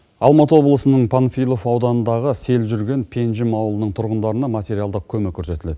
алматы облысының панфилов ауданындағы сел жүрген пенжім ауылының тұрғындарына материалдық көмек көрсетіледі